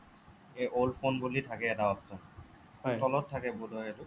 a old phone বুলি থাকে এটা option তলত থাকে বোধ হয় সেইটো